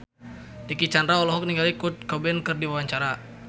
Dicky Chandra olohok ningali Kurt Cobain keur diwawancara